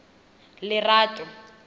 lerato